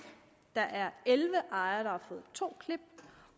der er elleve ejere der har fået to klip